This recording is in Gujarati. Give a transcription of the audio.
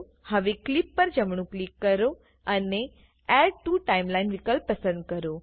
હવે clipપર જમણું ક્લિક કરો અને એડ ટીઓ TIMELINEવિકલ્પ પસંદ કરો